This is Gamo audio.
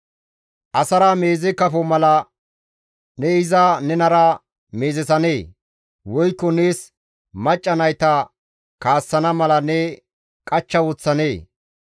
Asara meeze kafo mala ne iza nenara meezesanee? Woykko nees macca nayta kaassana mala ne qachcha woththanee?